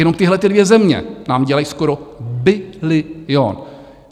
Jenom tyhlety dvě země nám dělají skoro bilion.